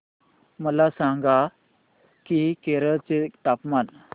मला सांगा की केरळ चे तापमान